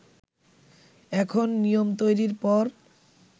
এখন নিয়ম তৈরির পর